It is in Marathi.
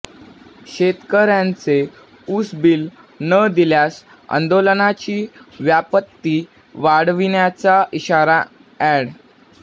शेतकऱयांचे उसबील न दिल्यास आंदोलनाची व्याप्ती वाढविण्याचा इशारा ऍड